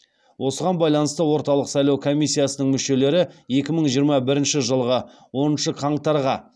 осыған байланысты орталық сайлау комиссиясының мүшелері екі мың жиырма бірінші жылғы оныншы қаңтарға